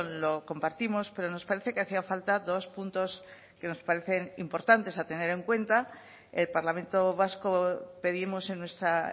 lo compartimos pero nos parece que hacía falta dos puntos que nos parecen importantes a tener en cuenta el parlamento vasco pedimos en nuestra